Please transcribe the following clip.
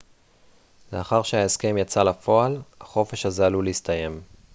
לאחר שההסכם יצא לפועל החופש הזה עלול להסתיים